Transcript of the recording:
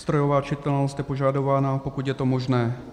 Strojová čitelnost je požadována, pokud je to možné.